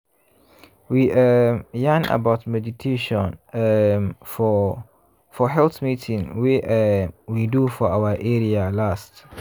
we um yarn about meditation um for for health meeting wey um we do for our area last.